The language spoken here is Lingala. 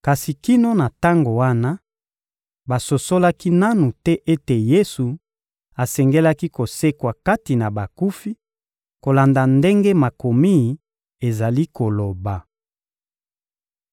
Kasi kino na tango wana, basosolaki nanu te ete Yesu asengelaki kosekwa kati na bakufi, kolanda ndenge Makomi ezali koloba.